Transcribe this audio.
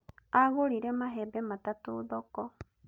Agũrire mahembe matatũ thoko